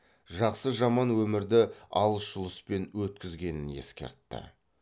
жақсы жаман өмірді алыс жұлыспен өткізгенін ескертті